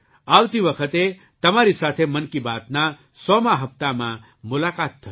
આવતી વખતે તમારી સાથે મન કી બાતના સોમા 100મા હપ્તામાં મુલાકાત થશે